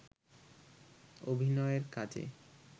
অভিনয়ের কাজে